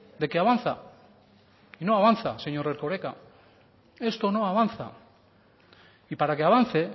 de que avanza y no avanza señor erkoreka esto no avanza y para que avance